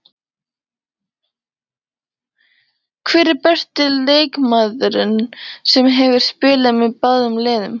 Hver er besti leikmaðurinn sem hefur spilað með báðum liðum?